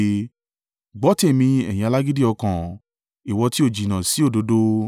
Gbọ́ tèmi, ẹ̀yin alágídí ọkàn, ìwọ tí ó jìnnà sí òdodo.